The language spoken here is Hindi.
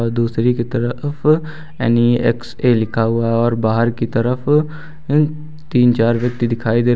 दूसरी की तरफ यन ई एक्स ए लिखा हुआ है और बाहर की तरफ तीन चार व्यक्ति दिखाई दे रहे।